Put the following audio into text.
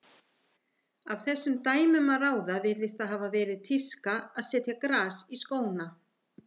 Af þessum dæmum að ráða virðist það hafa verið tíska að setja gras í skóna.